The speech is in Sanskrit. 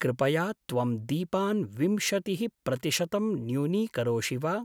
कृपया त्वं दीपान् विंशतिः प्रतिशतं न्यूनीकरोषि वा?